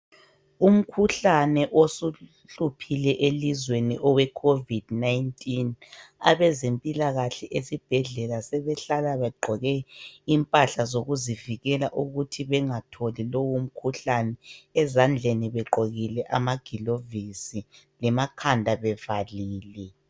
Umkhuhlane osuhluphile elizweni oweCOVID19, abezempilakahle esibhedlela sebehlala begqoke impahla zokuzivikela ukuthi bengatholi lowumkhuhlane ezandleni begqokile amagilovisi lemakhanda bevalile.